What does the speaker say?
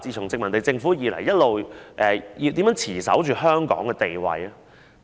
自殖民地政府開始，一直以來如何持守香港地位呢？